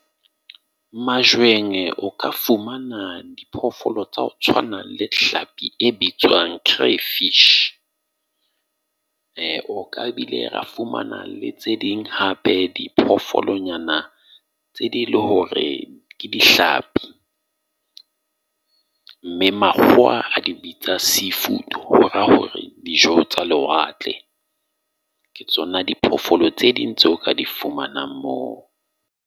o ka fumana diphoofolo tsa ho tshwanang le hlapi e bitswang cray fish. O ka e bile ra fumana le tse ding hape diphoofolonyana tse ding le hore ke dihlapi, mme makgowa a di bitsa seafood. Ho raa hore dijo tsa lewatle. Ke tsona diphoofolo tse ding tseo ka di fumanang moo.